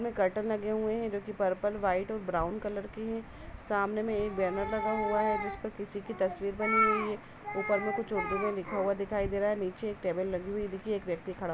में कर्टन लगे हुए हैं जो कि पर्पल व्हाइट और ब्राउन कलर के हैं। सामने में एक बैनर लगा हुआ है जिस पर किसी की तस्वीर बनी हुई है। ऊपर में कुछ उर्दू में लिखा हुआ दिखाई दे रहा है। नीचे एक टेबल लगी हुई दिखी। एक व्यक्ति खड़ा --